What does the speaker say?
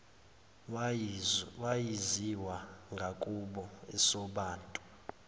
wayaziwa ngakubo esobantu